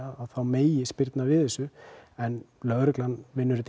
þá megi spyrna við þessu en lögreglan vinnur þetta